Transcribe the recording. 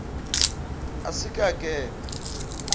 a se ke a kena